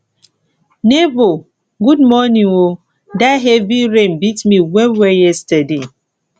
nebor good morning o dat heavy rain beat me wellwell yesterday